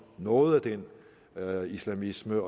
noget af den islamisme